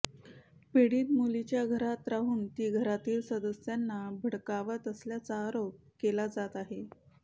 पीडित मुलीच्या घरात राहून ती घरातील सदस्यांना भडकावत असल्याचा आरोप केला जात आहे